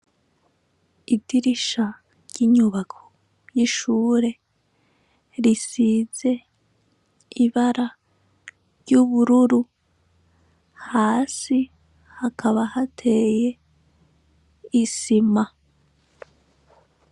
Idirishya ry'inyubako y'ishure risize ibara ry'ubururu. Hasi hakaba hateye isima.